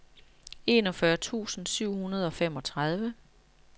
enogfyrre tusind syv hundrede og femogtredive